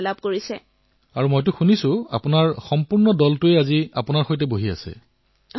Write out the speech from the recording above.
প্ৰধানমন্ত্ৰীঃ আৰু মই শুনিবলৈ পাইছো যে আজি গোটেই দলটো আপোনাৰ সৈতে বহি আছে